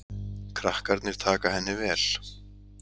Krakkarnir taka henni vel.